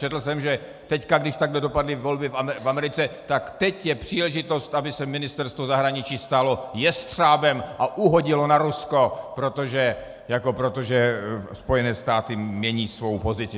Četl jsem, že teď, když takto dopadly volby v Americe, tak teď je příležitost, aby se Ministerstvo zahraničí stalo jestřábem a uhodilo na Rusko, protože Spojené státy mění svou pozici.